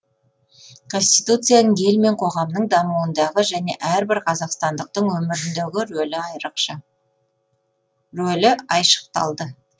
конституцияның ел мен қоғамның дамуындағы және әрбір қазақстандықтың өміріндегі рөлі айшықталды